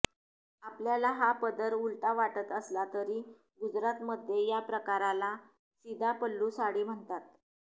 आपल्याला हा पदर उलटा वाटत असला तरी गुजरातमध्ये या प्रकाराला सीधा पल्लू साडी म्हणतात